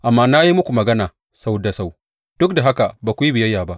Amma na yi muku magana sau da sau, duk da haka ba ku yi biyayya ba.